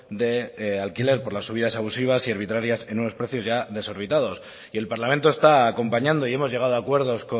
de alquiler por las subidas abusivas y arbitrarias en unos precios ya desorbitados y el parlamento está acompañando y hemos llegado a acuerdos